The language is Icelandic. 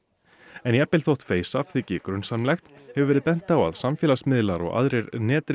en jafnvel þótt þyki grunsamlegt hefur verið bent á að samfélagsmiðlar og aðrir